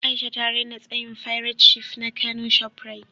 A’isha ta raina tsayin fairat shif na kano shoprite.